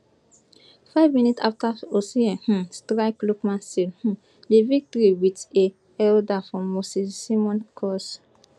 five minutes afta osimhen um strike lookman seal um di victory wit a header from moses simon cross